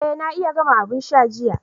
Eh na iya gama abin sha jiya.